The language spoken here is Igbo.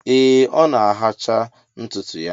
Ee ọ na-ahacha ntụtụ ya